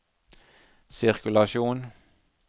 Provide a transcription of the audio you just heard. sirkulasjon